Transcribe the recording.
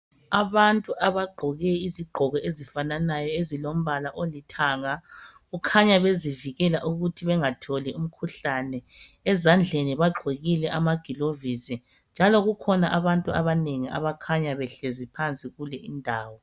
Abantu abagqoke izigqoko ezifananayo ezilombala olithanga. Kukhanya bezivikela ukuthi bengatholi umkhuhlane. Ezandleni bagqokile amaglovisi., njalo kukhona abantu abanengi, abakhanya behlezi phansi kulindawo.